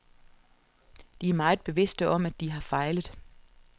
De er meget bevidste om, at de har fejlet.